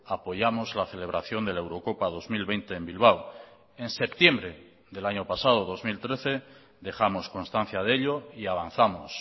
apoyamos la celebración de la eurocopa dos mil veinte en bilbao en septiembre del año pasado dos mil trece dejamos constancia de ello y avanzamos